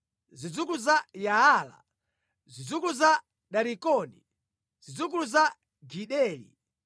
zidzukulu za Yaala, zidzukulu za Darikoni, zidzukulu za Gideli,